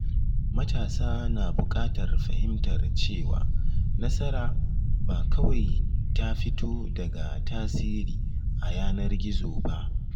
Matasa na buƙatar fahimtar cewa nasara ba kawai ta fito daga tasiri a yanar gizo ba.